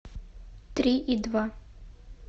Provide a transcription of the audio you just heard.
три и два